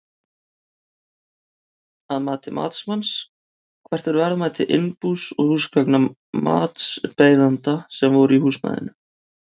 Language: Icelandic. Að mati matsmanns, hvert er verðmæti innbús og húsgagna matsbeiðanda sem voru í húsnæðinu?